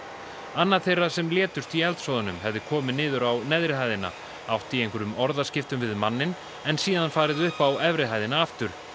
annað þeirra sem létust í eldsvoðanum hefði komið niður á neðri hæðina átt í einhverjum orðaskiptum við manninn en síðan farið upp á efri hæðina aftur